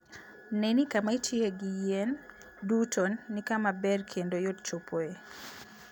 Ne ni kama itiyoe gi yien duto ni kama ber kendo yot chopoe.